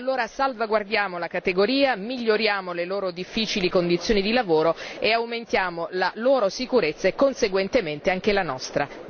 E allora salvaguardiamo la categoria, miglioriamo le loro difficili condizioni di lavoro e aumentiamo la loro sicurezza e conseguentemente anche la nostra.